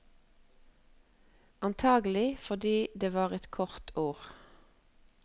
Antagelig fordi det var et kort ord.